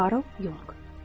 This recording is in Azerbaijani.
Karl Yuonq.